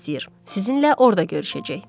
Sizinlə orda görüşəcək.